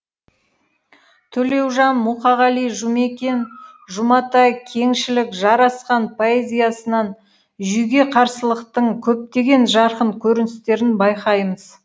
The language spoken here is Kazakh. төлеужан мұқағали жұмекен жұматай кеңшілік жарасхан поэзиясынан жүйеге қарсылықтың көптеген жарқын көріністерін байқаймыз